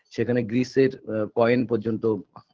সেখানে গ্রিসের আ coin পর্যন্ত